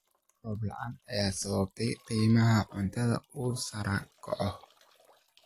Roob la�aanta ayaa sababtay in qiimaha cuntada uu sare u kaco.